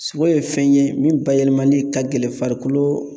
Sogo ye fɛn ye min bayɛlɛmali ka gɛlɛn farikolo